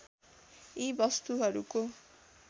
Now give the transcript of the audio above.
यी वस्‍तुहरूको